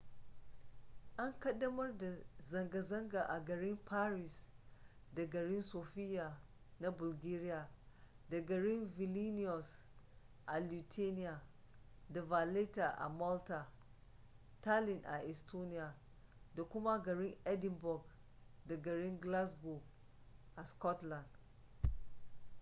an kaddamar da zanga-zanga a garin paris da garin sofia na bulgaria da garin vilinius a lithuania da valetta a malta tallinn a estonia da kuma garin edinburgh da garin glasgow a scotland